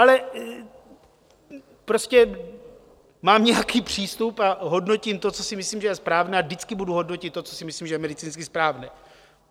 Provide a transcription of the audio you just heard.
Ale prostě mám nějaký přístup a hodnotím to, co si myslím, že je správné, a vždycky budu hodnotit to, co si myslím, že je medicínsky správné.